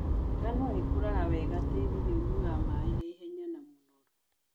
Ngano ĩkũraga wega tĩrinĩ ũyuaga maĩ naihenya na mũnoru.